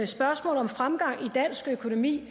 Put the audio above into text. spørgsmålet om fremgang i dansk økonomi